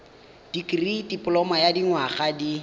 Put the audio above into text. dikirii dipoloma ya dinyaga di